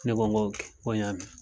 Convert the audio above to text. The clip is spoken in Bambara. Ne ko ko n ko y'a mɛn.